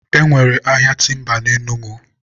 e nwere ahịa timba na Enugu.